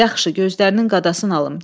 Yaxşı, gözlərinin qadasını alım.